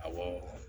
Awɔ